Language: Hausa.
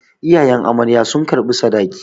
Iyayen amarya sun karɓi sadaki.